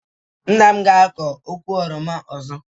Nna m ga azọ ụkwụ oroma ọzọ